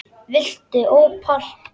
Viltu ópal?